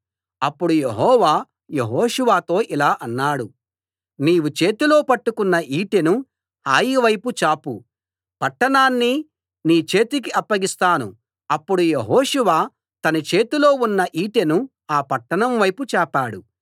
అప్పుడు యెహోవా యెహోషువతో ఇలా అన్నాడు నీవు చేతిలో పట్టుకొన్న ఈటెను హాయి వైపు చాపు పట్టణాన్ని నీ చేతికి అప్పగిస్తాను అప్పుడు యెహోషువ తన చేతిలో ఉన్న ఈటెను ఆ పట్టణం వైపు చాపాడు